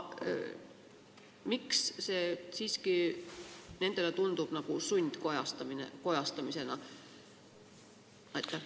Miks see siiski tundub neile nagu sundkojastamisena?